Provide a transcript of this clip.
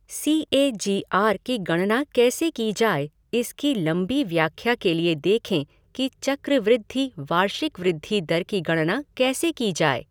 C A G R की गणना कैसे की जाए इसकी लंबी व्याख्या के लिए देखें कि चक्रवृद्धि वार्षिक वृद्धि दर की गणना कैसे की जाए।